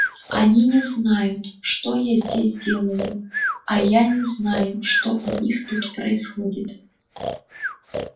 они не знают что я здесь делаю а я не знаю что у них тут происходит